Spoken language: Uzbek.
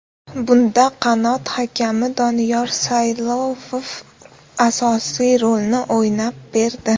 Bunda qanot hakami Doniyor Saylovov asosiy rolni o‘ynab berdi.